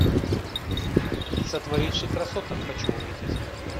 сотворивший красоток хочу увидеть